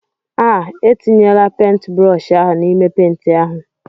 Ah! etinyela pentbrọshi ahụ n'ime penti ahụ!